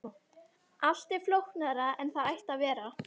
Allt er flóknara en það ætti að vera.